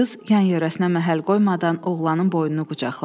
Qız yan-yörəsinə məhəl qoymadan oğlanın boynunu qucaqladı.